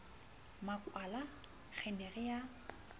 makwala re ne re a